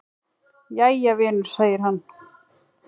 """Jæja, vinur segir hann."""